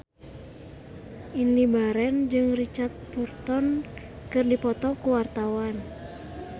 Indy Barens jeung Richard Burton keur dipoto ku wartawan